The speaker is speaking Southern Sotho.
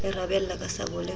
e rabella ka sabole ho